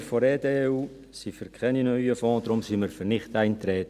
Wir von der EDU sind für keine neuen Fonds, deswegen sind wir für Nichteintreten.